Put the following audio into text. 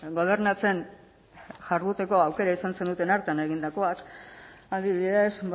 gobernatzen jarduteko aukera izan zenuten hartan egindakoak adibidez